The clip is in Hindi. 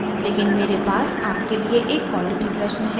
लेकिन मेरे पास आपके लिए एक quality प्रश्न है